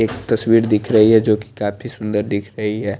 एक तस्वीर दिख रही है जो की काफी सुन्दर दिख रही है।